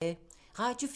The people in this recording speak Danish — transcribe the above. Radio 4